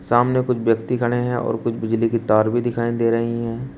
सामने कुछ व्यक्ति खड़े हैं और कुछ बिजली की तार भी दिखाई दे रही हैं।